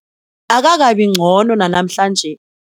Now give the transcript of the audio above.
Akakabi ngcono nanamhlanje.